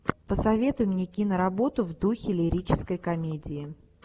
посоветуй мне киноработу в духе лирической комедии